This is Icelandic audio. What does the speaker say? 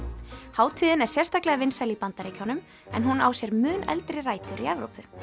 hátíðin er sérstaklega vinsæl í Bandaríkjunum en hún á sér mun eldri rætur í Evrópu